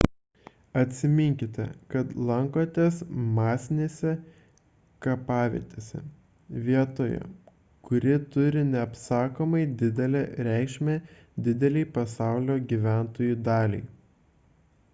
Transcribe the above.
atsiminkite kad lankotės masinėse kapavietėse vietoje kuri turi neapsakomai didelę reikšmę didelei pasaulio gyventojų daliai